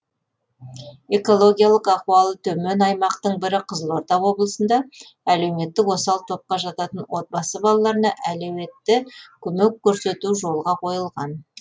экологиялық ахуалы төмен аймақтың бірі қызылорда облысында әлеуметтік осал топқа жататын отбасы балаларына әлеуетті көмек көрсету жолға қойылған